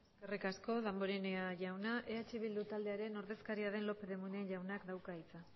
eskerrik asko damborenea jauna eh bildu taldearen ordezkaria den lópez de munain jaunak dauka hitza